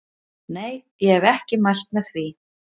Nei ég hef ekki mælt með því.